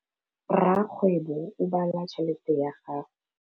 Rakgwêbô o bala tšheletê ya gagwe.